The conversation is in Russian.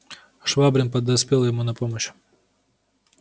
швабрин подоспел ему на помощь